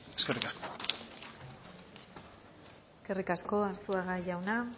eskerrik asko eskerrik asko arzuaga jauna